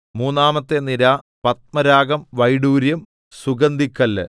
മൂന്നാമത്തെ നിര പത്മരാഗം വൈഡൂര്യം സുഗന്ധിക്കല്ല്